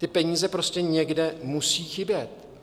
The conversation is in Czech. Ty peníze prostě někde musí chybět.